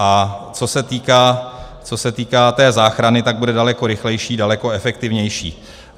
A co se týká té záchrany, tak bude daleko rychlejší, daleko efektivnější.